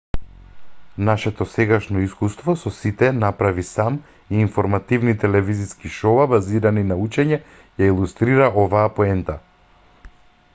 нашето сегашно искуство со сите направи сам и информативни телевизиски шоуа базирани на учење ја илустрира оваа поента